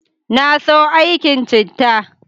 Na so aikin cittan